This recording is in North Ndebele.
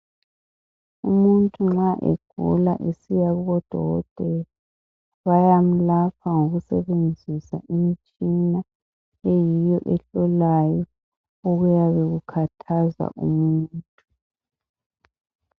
Umuntu nxa egula esiya kubodokotela bayamelapha ngokusebenzisa imitshina ehlolayo okuyikho okuyabe kukhathaza umuntu.